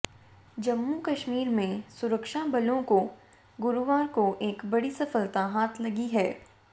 जम्मू कश्मीर में सुरक्षाबलों को गुरुवार को एक बड़ी सफलता हाथ लगी है